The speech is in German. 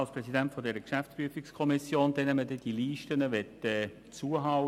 Ich stehe hier als Präsident der GPK, welcher man diese Listen jährlich abgeben will.